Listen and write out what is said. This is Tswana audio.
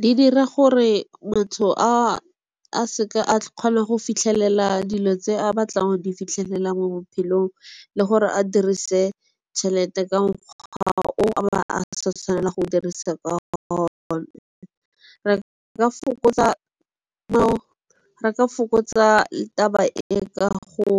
Di dira gore motho a seka a kgonang go fitlhelela dilo tse a batlang di fitlhela mo bophelong le gore a dirise tšhelete ka mokgwa o ba a sa tshwanela go dirisa ka re ka fokotsa taba e ka go